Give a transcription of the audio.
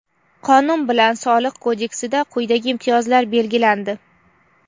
Qonun bilan Soliq kodeksida quyidagi imtiyozlar belgilandi:.